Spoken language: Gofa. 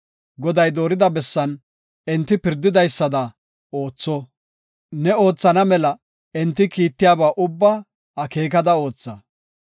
Goday doorida bessan enti pirdidaysada ootha; ne oothana mela enti kiittiyaba ubba akeekada ootha.